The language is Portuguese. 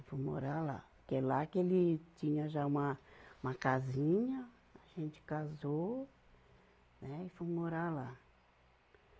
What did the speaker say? Fui morar lá, que é lá que ele tinha já uma, uma casinha, a gente casou, né, e fomos morar lá.